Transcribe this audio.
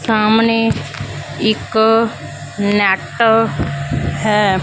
ਸਾਹਮਣੇ ਇੱਕ ਨੈਟ ਹੈ।